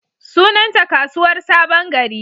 Sunanta Kasuwar sabon gari.